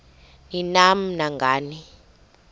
ni nam nangani